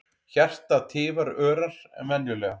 Hjartað tifar örar en venjulega.